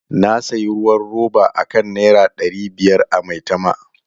Na sayi ruwan roba akan Naira dari biyar a Maitama.